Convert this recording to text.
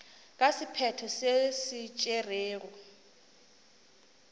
ka sephetho se se tšerwego